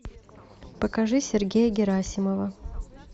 покажи сергея герасимова